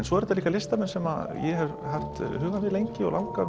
svo eru þetta líka listamenn sem ég hef haft hugann við lengi og langað